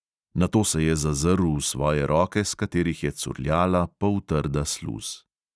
Nato se je zazrl v svoje roke, s katerih je curljala poltrda sluz.